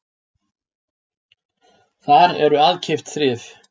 Þar eru aðkeypt þrif